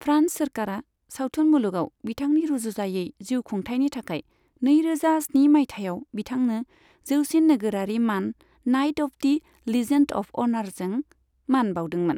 France सोरखारआ सावथुन मुलुगाव बिथांनि रुजुजायै जिउखुंथायनि थाखाय नैरोजा स्नि माइथायाव बिथांनो जौसिन नोगोरारि मान knight of the legend of honour मान बाउदोंमोन।